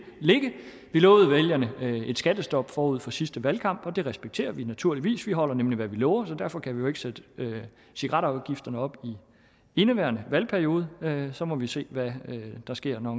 vi lovede vælgerne et skattestop forud for sidste valg og det respekterer vi naturligvis vi holder nemlig hvad vi lover så derfor kan vi jo ikke sætte cigaretafgifterne op i indeværende valgperiode og så må vi se hvad der sker når